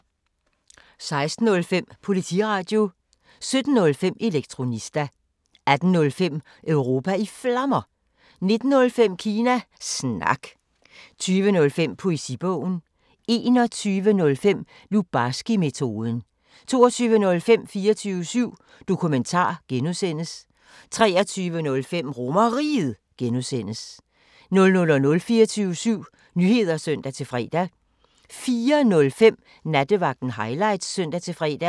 16:05: Politiradio 17:05: Elektronista 18:05: Europa i Flammer 19:05: Kina Snak 20:05: Poesibogen 21:05: Lubarskimetoden 22:05: 24syv Dokumentar (G) 23:05: RomerRiget (G) 00:00: 24syv Nyheder (søn-fre) 04:05: Nattevagten Highlights (søn-fre)